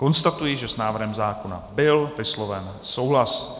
Konstatuji, že s návrhem zákona byl vysloven souhlas.